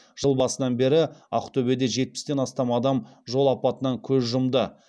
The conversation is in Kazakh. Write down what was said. жыл басынан бері ақтөбеде жетпістен астам адам жол апатынан көз жұмды